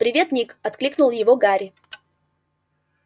привет ник окликнул его гарри